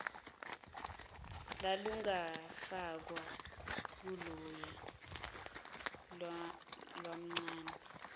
lalungafakwa kuloya mamncane